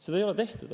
Seda ei ole tehtud.